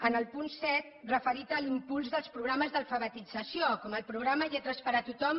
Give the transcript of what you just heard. en el punt set referit a l’impuls dels programes d’alfabetització com el programa lletres per a tothom